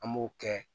An b'o kɛ